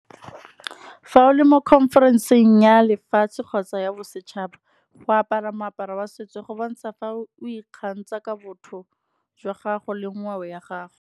Fa o le mo conference-eng ya lefatshe kgotsa ya bosetšhaba, go apara moaparo wa setso go bontsha fa o ikgantsha, ka botho jwa gago le ngwao ya gago.